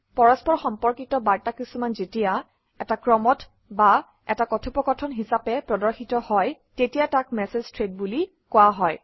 পৰস্পৰ সম্পৰ্কিত বাৰ্তা কিছুমান যেতিয়া এটা ক্ৰমত বা এটা কথোপকথন হিচাপে প্ৰদৰ্শিত হয় তেতিয়া তাক মেচেজ থ্ৰেড বুলি কোৱা হয়